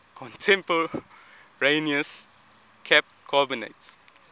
contemporaneous cap carbonates